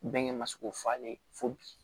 Bɛnkɛ ma se k'o falen fo bi